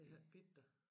Det har ikke bidt dig